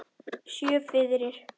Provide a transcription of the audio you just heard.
Sjö firðir!